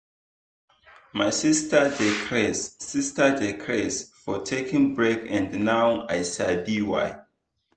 my sister dey craze sister dey craze for taking break and now i sabi why.